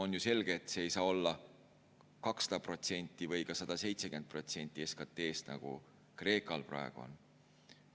On ju selge, et see ei saa olla 200% või ka 170% SKT‑st, nagu Kreekal praegu on.